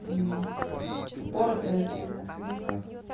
мм упоротая или на отходняках